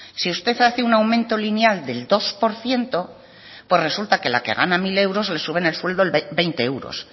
si usted hace un aumento lineal del dos por ciento pues que resulta que la que gana mil euros le sube el sueldo veinte euros